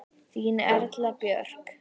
Þín Erla Björk.